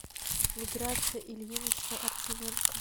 миграция ильинична артименко